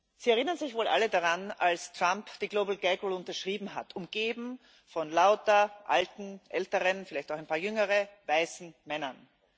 Sie erinnern sich wohl alle daran, als Trump die Global Gag Rule unterschrieben hat, umgeben von lauter alten, älteren vielleicht auch ein paar jüngeren weißen Männern.